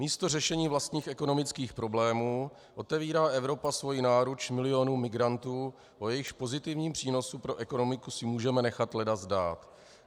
Místo řešení vlastních ekonomických problémů otevírá Evropa svoji náruč milionům migrantů, o jejichž pozitivním přínosu pro ekonomiku si můžeme nechat leda zdát.